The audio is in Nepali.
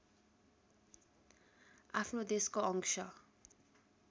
आफ्नो देशको अंश